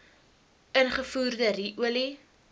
ingevoerde ru olie